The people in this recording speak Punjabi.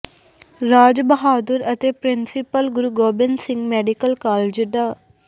ਰਾਜ ਬਹਾਦੁਰ ਅਤੇ principal Guru Gobind Singh medical college ਡਾ